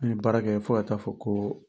Ni ye baara kɛ fo ka taa fɔ ko